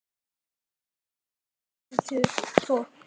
Báturinn var svo tekinn í tog.